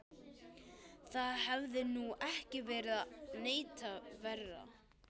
Það hefði nú ekki verið neitt verra.